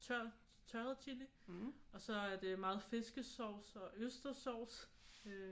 Tørret chili og så er det meget fiskesauce og østerssauce øh